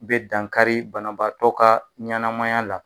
Be dankari banabaatɔ ka ɲanamaya la